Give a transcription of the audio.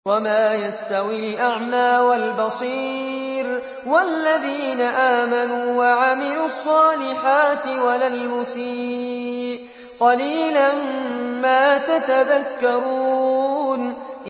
وَمَا يَسْتَوِي الْأَعْمَىٰ وَالْبَصِيرُ وَالَّذِينَ آمَنُوا وَعَمِلُوا الصَّالِحَاتِ وَلَا الْمُسِيءُ ۚ قَلِيلًا مَّا تَتَذَكَّرُونَ